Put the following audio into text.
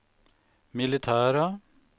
militära